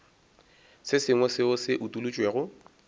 se sengwe seo se utolotšwego